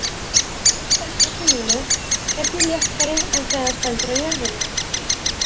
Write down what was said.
Maður sem stendur á tunglinu er því léttari en þegar hann stendur á jörðinni.